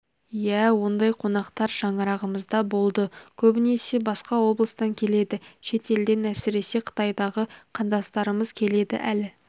иә ондай қонақтар шаңырағымызда болды көбінесе басқа облыстан келеді шет елден әсіре қытайдағы қандастарымыз келеді әлі